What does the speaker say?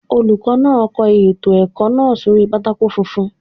Olùkọ́ náà kọ ètò ẹ̀kọ́ náà sórí pátákó funfun.